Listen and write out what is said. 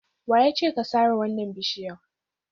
Wa ya ce ka sare wannan bishiyar?